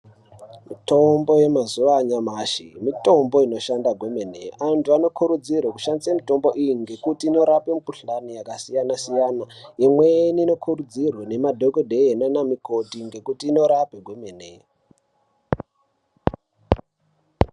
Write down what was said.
Mitombo yemazuwa anyamashi mitombo inoshanda kwemene antu anokurudzirwa kushandisa mitombo iyi ngekuti inorape mikhuhlane yakasiyana siyana inweni inokurudzirwe nhemadhokodheya nana mukoti ngekuti inorapa kwemene.